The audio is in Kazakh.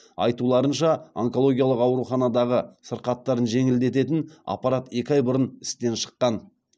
айтуларынша онкологиялық ауруханадағы сырқаттарын жеңілдететін аппарат екі ай бұрын істен шыққан